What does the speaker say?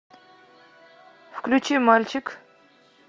включи мальчик